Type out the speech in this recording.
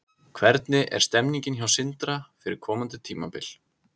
Hvernig er stemningin hjá Sindra fyrir komandi tímabil?